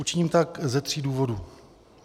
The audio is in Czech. Učiním tak ze tří důvodů.